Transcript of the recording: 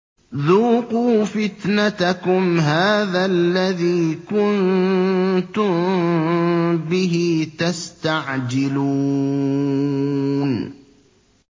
ذُوقُوا فِتْنَتَكُمْ هَٰذَا الَّذِي كُنتُم بِهِ تَسْتَعْجِلُونَ